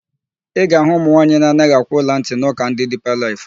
Ị ga-ahụ ụmụnwaanyị na-anaghị akwụ ọlantị n'ụka ndị Diipa Laịf.